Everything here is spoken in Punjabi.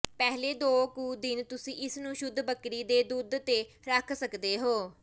ਪਹਿਲੇ ਦੋ ਕੁ ਦਿਨ ਤੁਸੀਂ ਇਸ ਨੂੰ ਸ਼ੁੱਧ ਬੱਕਰੀ ਦੇ ਦੁੱਧ ਤੇ ਰੱਖ ਸਕਦੇ ਹੋ